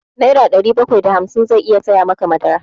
Nera ɗari bakwai da hamsin zai iya saya maka madara.